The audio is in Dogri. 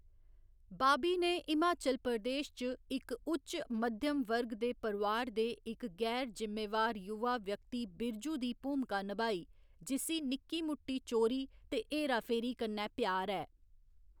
बाबी ने हिमाचल प्रदेश च इक उच्च मध्यम वर्ग दे परोआर दे इक गैर जिम्मेवार युवा व्यक्ति बिरजू दी भूमिका नभाई, जिस्सी निक्की मुट्टी चोरी ते हेरा फेरी कन्नै प्यार ऐ।